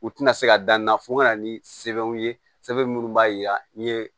U tɛna se ka dan na fo ka na ni sɛbɛnw ye sɛbɛn minnu b'a yira n'i ye